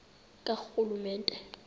karhulumente